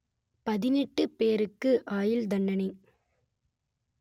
பதினெட்டு பேருக்கு ஆயுள் தண்டனை